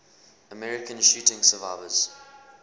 american shooting survivors